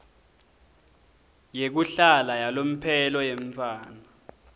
yekuhlala yalomphelo yemntfwana